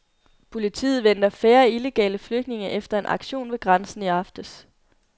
Politiet venter færre illegale flygtninge efter en aktion ved grænsen i aftes.